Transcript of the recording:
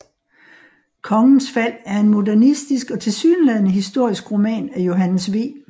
Kongens Fald er en modernistisk og tilsyneladende historisk roman af Johannes V